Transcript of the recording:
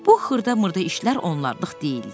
Bu xırdamırda işlər onluq deyildi.